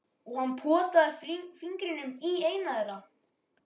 Og hann potaði fingrinum í eina þeirra.